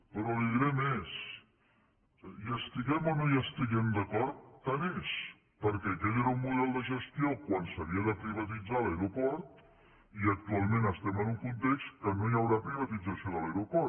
però li diré més hi estiguem o no hi estiguem d’acord tant és perquè aquell era un model de gestió quan s’havia de privatitzar l’aeroport i actualment estem en un context en què no hi haurà privatització de l’aeroport